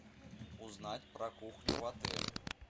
узнать про кухню в отеле